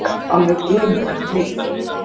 Alveg ömurlegt líf.